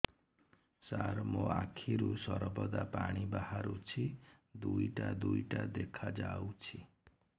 ସାର ମୋ ଆଖିରୁ ସର୍ବଦା ପାଣି ବାହାରୁଛି ଦୁଇଟା ଦୁଇଟା ଦେଖାଯାଉଛି